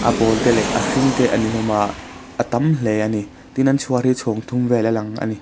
a pawl te leh a hring te ani hlawm a a tam hle ani tin an chhuar hi chhawng thum vel a lang ani.